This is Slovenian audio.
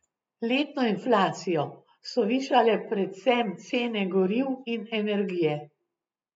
Letno inflacijo so višale predvsem cene goriv in energije.